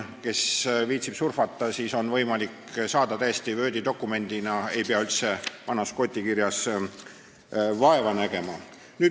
Kes viitsib surfata, see on Wordi dokumendina täiesti olemas, ei pea vana gooti kirja lugemisega vaeva nägema.